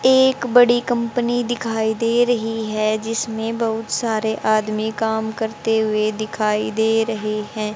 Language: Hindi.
एक बड़ी कंपनी दिखाई दे रही है जिसमें बहुत सारे आदमी काम करते हुए दिखाई दे रहे हैं।